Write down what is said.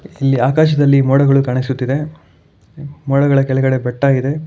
ಈ ಆಕಾಶದಲ್ಲಿ ಮೋಡಗಳು ಕಾಣಿಸುತ್ತಿದೆ ಮೋಡಗಳ ಕೆಳ್ಗಡೆ ಬೆಟ್ಟ ಇದೆ.